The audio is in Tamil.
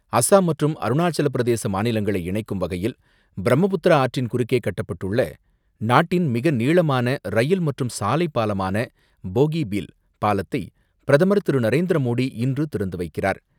அஸ்ஸாம் மற்றும் அருணாசலப் பிரதேச மாநிலங்களை இணைக்கும் வகையில், பிரம்மபுத்திரா ஆற்றின் குறுக்கே கட்டப்பட்டுள்ள, நாட்டின் மிக நீளமான ரயில் மற்றும் சாலை பாலமான போகிபீல் பாலத்தை பிரதமர் திரு.நரேந்திர மோடி இன்று திறந்து வைக்கிரார்.